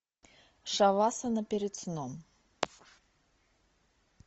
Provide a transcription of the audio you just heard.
шавасана перед сном